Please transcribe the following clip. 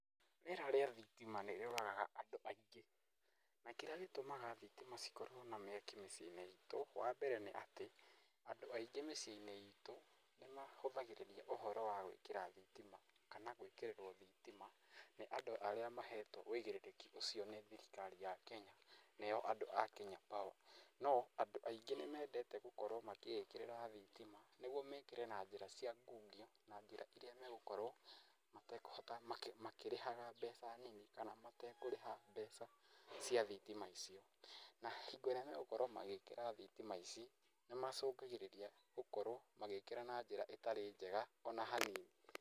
Rĩera rĩa thitima nĩ rĩũragaga andũ aingĩ, na kĩrĩa gĩtũmaga thitima cikorwo na mĩaki mĩciĩ-inĩ itũ, wa mbere nĩ atĩ, andũ aingĩ mĩciĩ-inĩ itũ, nĩ mahũthagĩrĩria ũhoro wa gũĩkĩra thitima, kana gwĩkĩrĩrwo thitima nĩ andũ arĩa mahetwo ũigĩrĩrĩki ũcio nĩ thirikari ya Kenya nĩo andũ a Kenya Power. No andũ aingĩ nĩ mendete gũkorwo makĩĩkĩrĩra thitima nĩguo mekĩre na njĩra cia ngungio na njĩra iria megũkorwo matekũhota, makĩrĩhaga mbeca nini kana matekũrĩha mbeca cia thitima icio. Na hingo ĩrĩa megũkorwo magĩkĩra thitima ici nĩ macũngagĩrĩria gũkorwo magĩkĩra na njĩra ĩtarĩ njega ona hanini.